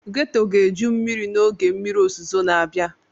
Ghetto ga-eju mmiri n'oge mmiri ozuzo na-abịa.